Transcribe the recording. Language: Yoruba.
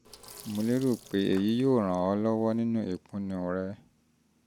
mo lérò pé èyí yóò ràn ọ́ lọ́wọ́ nínú ìpinnu rẹ